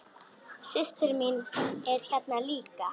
Systir mín er hérna líka.